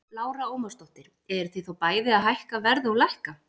Lára Ómarsdóttir: Eruð þið þá bæði að hækka verð og lækka?